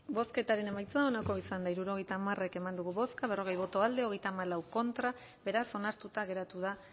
bozketaren emaitza onako izan da hirurogeita hamar eman dugu bozka hogeita hamalau contra beraz onartuta geratu da